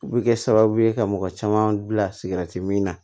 U bɛ kɛ sababu ye ka mɔgɔ caman bila sikɛriti min na